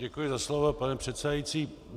Děkuji za slovo, pane předsedající.